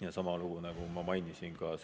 Ja sama lugu, nagu ma mainisin ka